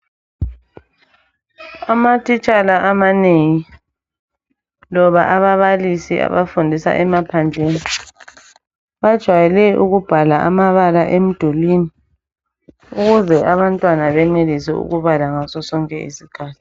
Amatitshala amanengi loba ababalisi abafundisa emaphandleni, bajwayele ukubhala amabala emdulini. Ukuze abantwana benelise ukubala ngasosonke isikhathi.